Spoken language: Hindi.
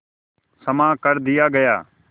क्षमा कर दिया गया